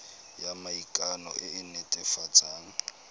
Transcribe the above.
ya maikano e e netefatsang